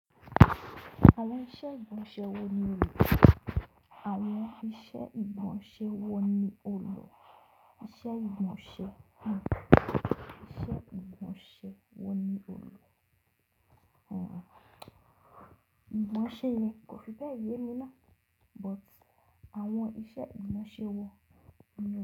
Àwọn iṣẹ́ ìgbọ́nṣè wọ ní òlò. Àwọn iṣẹ́ ìmọ̀ọ́ṣè wọ́n ní òlò. Ìṣe ìmọ̀ọ́ṣè, ìmọ̀ọ́ṣè wọ́n ní òlò. Ìmọ̀ọ́ṣè yẹn kò fi báyìí múná, but àwọn iṣẹ́ ìmọ̀ọ́ṣè wo.